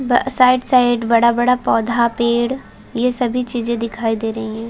ब साइड-साइड बड़ा-बड़ा पौधा-पेड़ ये सभी चीजे दिखाई दे रही है।